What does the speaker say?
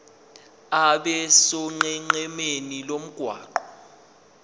abe sonqenqemeni lomgwaqo